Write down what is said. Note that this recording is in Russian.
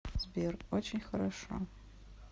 сбер очень хорошо